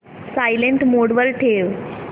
silent mode वर ठेव